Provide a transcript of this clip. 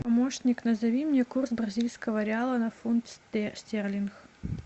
помощник назови мне курс бразильского реала на фунт стерлингов